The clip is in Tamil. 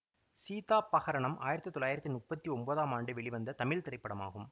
சீதா பஹரணம் ஆயிரத்தி தொள்ளாயிரத்தி முப்பத்தி ஒன்பதாம் ஆண்டு வெளிவந்த தமிழ் திரைப்படமாகும்